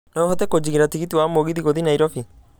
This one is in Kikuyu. no ũhote kũjigĩra tigiti wa mũgithi gũthiĩ nairobi